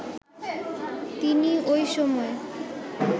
তিনি ওই সময়